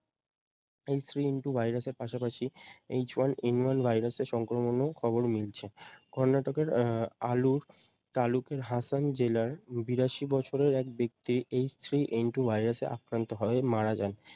H three N two ভাইরাস এর পাশাপাশি H one N one ভাইরাস এর সংক্রমণও খবর মিলছে। কর্নাটকের আহ আলুর তালুকের হাসান জেলার বিরাশি বছরের এক ব্যক্তির H three N two ভাইরাস এ আক্রান্ত হয়ে মারা যায়